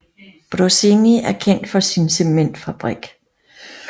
Brocēni er kendt for sin cementfabrik